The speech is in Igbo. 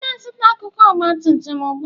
Ị na-azụta akụkụ ọgba tum tum ugbu a?